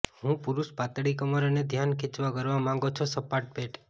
હું પુરૂષ પાતળી કમર અને ધ્યાન ખેંચવા કરવા માંગો છો સપાટ પેટ